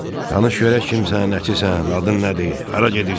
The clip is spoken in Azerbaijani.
"Danış görək kimsən, nəçisən, adın nədir, hara gedirsən?